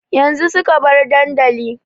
Yanzu suka bar dandali